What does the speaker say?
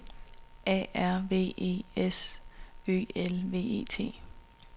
A R V E S Ø L V E T